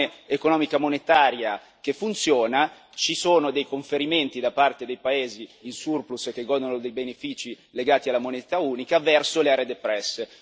In un'Unione economica monetaria che funziona ci sono dei conferimenti da parte dei paesi in surplus e che godono dei benefici legati alla moneta unica verso le aree depresse.